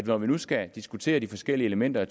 når vi nu skal diskutere de forskellige elementer af